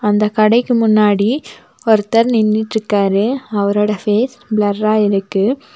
அந்தக் கடைக்கு முன்னாடி ஒருத்தர் நின்னுட்க்காரு அவரோட ஃபேஸ் பிளர்ரா இருக்கு.